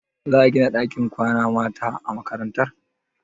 Za a gina ɗakin kwanan mata a makarantar?